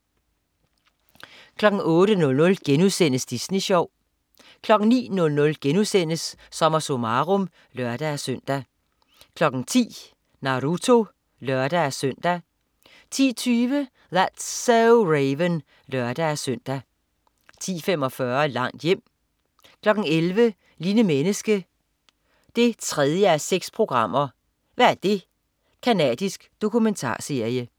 08.00 Disney Sjov* 09.00 SommerSummarum* (lør-søn) 10.00 Naruto (lør-søn) 10.20 That's so Raven (lør-søn) 10.45 Langt hjem 11.00 Lille menneske 3:6. hva' det? Canadisk dokumentarserie